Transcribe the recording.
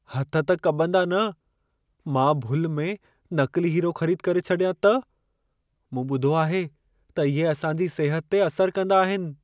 हथ त कंबदा न! मां भुल में नक़िली हीरो ख़रीद करे छॾियां त? मूं ॿुधो आहे त इहे असां जी सिहत ते असर कंदा आहिनि।